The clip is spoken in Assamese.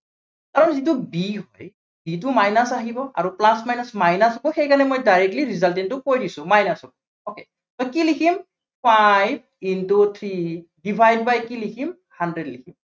আৰু যিটো b আছে b টো minus আহিব, আৰু plus, minus minus আহিব, সেইকাৰানে মই directly result টো কৈ দিছো minus হব okay । ত কি লিখিম five into three divide by কি লিখিম hundred লিখিম।